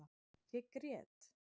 Ég grét